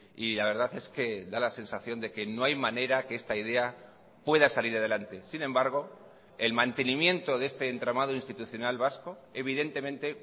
y la verdad es que da la sensación de que no hay manera que esta idea pueda salir adelante sin embargo el mantenimiento de este entramado institucional vasco evidentemente